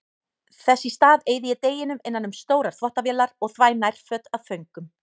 Þess í stað eyði ég deginum innan um stórar þvottavélar og þvæ nærföt af föngum.